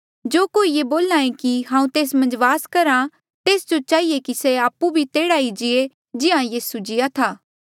जो कोई ये बोल्हा कि हांऊँ तेस मन्झ वास करहा तेस जो चहिए कि से आपु भी तेह्ड़ा ई जीए जिहां यीसू जिया था